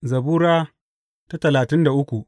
Zabura Sura talatin da uku